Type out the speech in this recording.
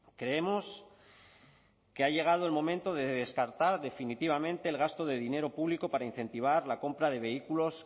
creemos que ha llegado el momento de descartar definitivamente el gasto de dinero público para incentivar la compra de vehículos